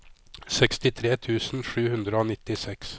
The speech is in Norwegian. sekstitre tusen sju hundre og nittiseks